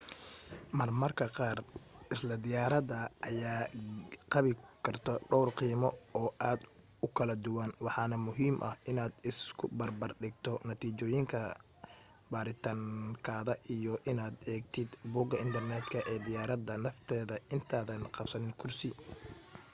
marmar qaar isla diyaaradda ayaa qabi karto dhawr qiimo oo aad u kala duwan waxaana muhiim ah inaad isubarbar dhigto natiijooyinka baaritaankaada iyo inaad eegtid bogga internetka ee diyaaradda nafteeda intaadan qabsanin kursi